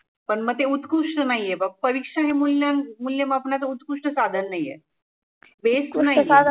पण मग ते उत्कृष्ट नाहिये. परिक्षा हे मुल्यां मुल्यमापनाचं उत्कृष्ट साधन नाहीए base तो नाहीए.